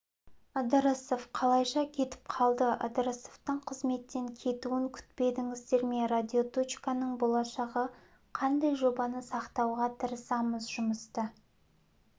ыдырысов қалайша кетіп қалды ыдырысовтың қызметтен кетуін күтпедіңіздер ме радиоточканың болашағы қандай жобаны сақтауға тырысамыз жұмысты